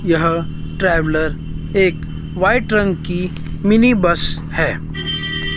यह ट्रैवलर एक वाइट रंग की मिनी बस है।